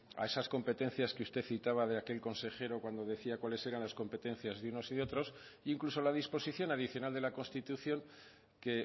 a esas competencias que usted citaba de aquel consejero cuando decía cuáles eran las competencias de unos y de otros incluso la disposición adicional de la constitución que